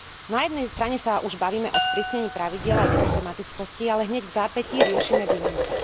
Na jednej strane sa už bavíme o sprísnení pravidiel a ich systematickosti, ale hneď vzápätí riešime výnimky.